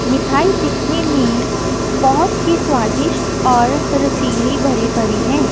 मिठाई दिखने में बहोत ही स्वादिष्ट और रसीली भरी पड़ी हैं।